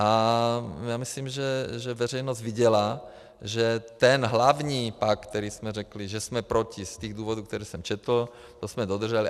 A já myslím, že veřejnost viděla, že ten hlavní pakt, který jsme řekli, že jsme proti z těch důvodů, které jsem četl, to jsme dodrželi.